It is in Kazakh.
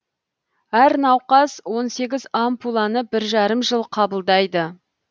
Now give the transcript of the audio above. әр науқас он сегіз ампуланы бір жарым жыл қабылдайды